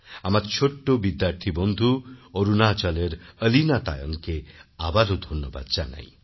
আমাদের ছোট্ট বিদ্যার্থী বন্ধু অরুণাচলেরঅলীনা তায়ংকে আবারও ধন্যবাদ জানাই